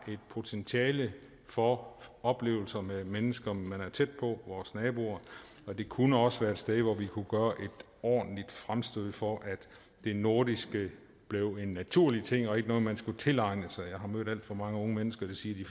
et potentiale for oplevelser med mennesker man er tæt på vores naboer det kunne også være et sted hvor vi kunne gøre et ordentligt fremstød for at det nordiske blev en naturlig ting og ikke noget man skulle tilegne sig jeg har mødt alt for mange unge mennesker der siger